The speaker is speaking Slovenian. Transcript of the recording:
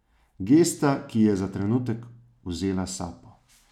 Gesta, ki ji je za trenutek vzela sapo.